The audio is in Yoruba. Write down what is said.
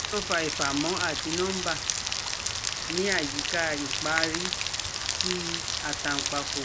Kini o fa ifamo ati nomba ni ayika ipaari ti atanpako?